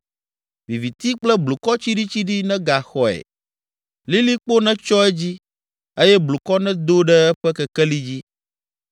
Viviti kple blukɔ tsiɖitsiɖi negaxɔe, lilikpo netsyɔ edzi eye blukɔ nedo ɖe eƒe kekeli dzi.